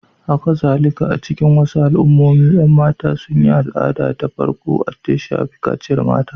Hakazalika, a cikin wasu al'ummomi, ƴan mata sun yi al'ada ta farko da ta shafi kaciyar mata.